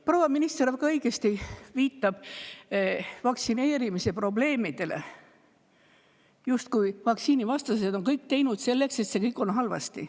Proua minister viitas väga õigesti vaktsineerimise probleemidele, justkui oleksid vaktsiinivastased teinud kõik selleks, et see kõik on halvasti.